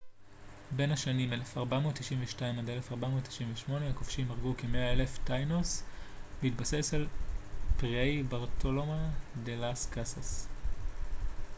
בהתבסס על פריי ברטולומה דה לאס קאסאס tratado de las indias בין השנים 1492 - 1498 הכובשים הרגו כ - 100,000 טאינוס